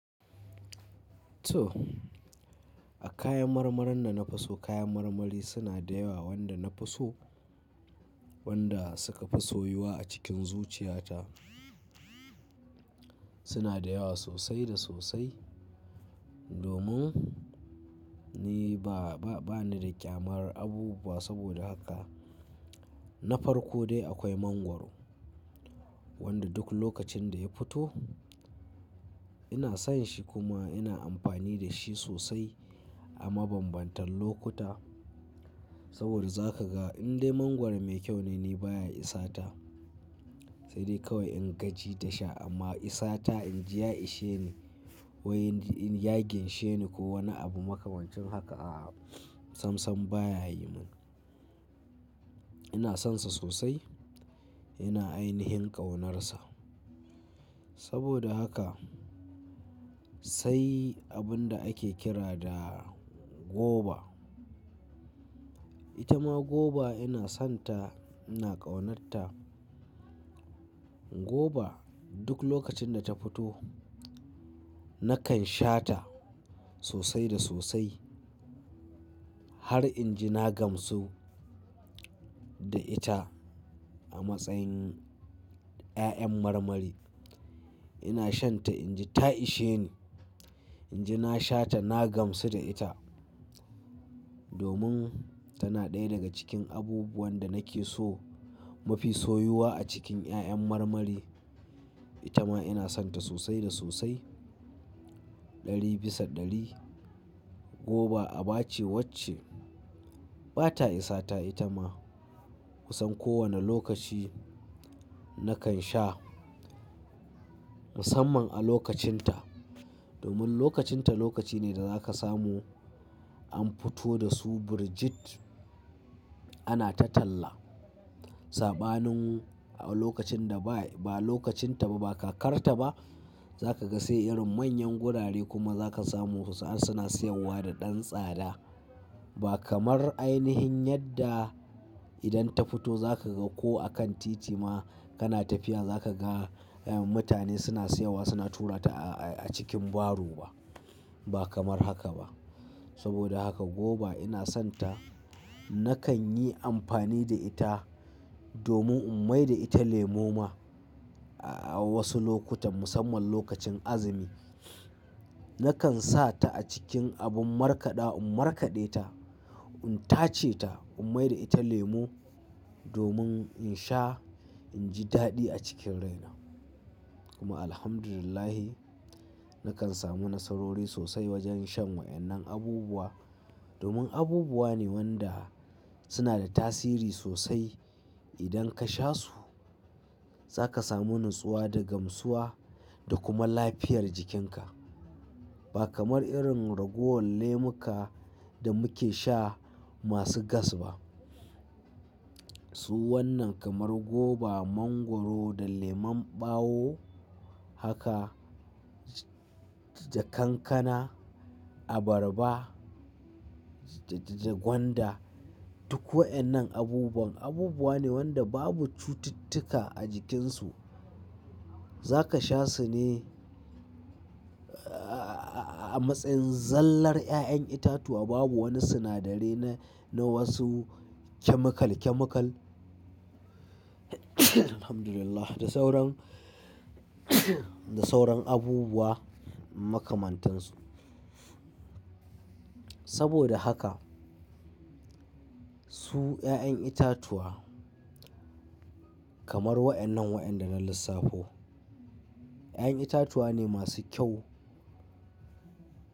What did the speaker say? To, a kayan marmarin da na fi so kayan marmari suna da yawa wanda na fi so, wanda suka fi soyuwa a cikin zuciyata, suna da yawa sosai da sosai. Domin ni ba, ba ni da ƙyamar abubuwa saboda haka, na farko dai akwai mangwaro, wanda duk lokacin da ya fito ina son shi kuma ina amfani da shi sosai a mabambantan lokuta. Saboda za ka ga in dai mangwaro mai kyau ne ni baya isata sai dai kawai in gaji da shi amma isata inji ya ishe ni wai in ya ginshe ni ko wani abu makamancin haka a'a sam sam baya yi mun. Ina sonsa sosai, ina ainihin ƙaunarsa. Saboda haka sai abun da ake kira da goba. Ita ma goba ina son ta ina ƙaunar ta. Goba duk lokacin da ta futo nakan sha ta sosai da sosai har inji na gamsu da ita a matsayin ƴaƴan marmari. Ina shan ta inji ta ishe ni, inji na sha ta na gamsu da ita, domin tana ɗaya daga cikin abubuwan da nake so mafi soyuwa a cikin ƴaƴan marmari. Ita ma ina son ta sosai da sosai, ɗari bisa ɗari. Goba abace wacce bata isata ita ma, kusan kowane lokaci nakan sha musamman a lokacin ta. Domin lokacin ta lokaci ne da zaka samu an fito da su Birjit ana ta talla. Saɓanin a lokacin da ba, ba lokacin ta ba kakarta ba zaka ga sai irin manyan gurare kuma zaka samu wasu har suna siyarwa da ɗan tsada. Ba kamar ainihin yadda idan ta fito zaka ga ko a kan titi ma kana tafiya zaka ga mutane suna siyarwa suna tura ta a cikin baro ba. Ba kamar haka ba. Saboda haka goba ina son ta nakan yi amfani da ita domin in mai da ita lemu ma a wasu lokutan, musamman lokacin azumi. Nakan sa ta a cikin abin markaɗa in markaɗe ta, in tace ta, in mai da ita lemu domin in sha inji daɗi a cikin raina. Kuma alhamdulillahi, nakan samu nasarori sosai wajen shan wa'yannan abubuwa. Domin abubuwa ne wanda suna da tasiri sosai idan ka sha su zaka samu natsuwa da gamsuwa da kuma lafiyar jikinka. Ba kamar irin ragowar lemuka da muke sha masu gas ba. Su wannan kamar goba, mangwaro da lemon ɓawo haka da kankana, abarba da gwanda duk wa'yannan abubuwan, abubuwa ne wanda babu cututtuka a jikinsu. Zaka sha su ne a matsayin zallar ƴaƴan itatuwa babu wani sinadari na, na wasu chemical, chemical. Alhamdulillah da sauran, da sauran abubuwa makamantansu. Saboda haka, su ƴaƴan itatuwa kamar wa'yannan wa'yanda na lissafo ƴaƴan itatuwa ne masu kyau.